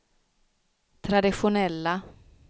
traditionella